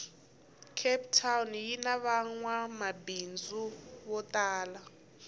cape town yinavangwamabhindzu votala